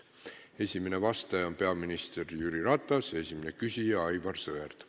Esimene vastaja on peaminister Jüri Ratas ja esimene küsija on Aivar Sõerd.